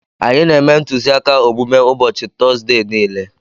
Anyị na-eme ntụziaka omume ụbọchị Tọzdee niile.